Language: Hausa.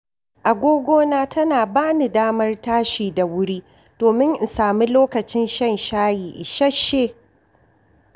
Agogona tana ba ni damar tashi da wuri domin in sami lokacin shan shayi isasshe.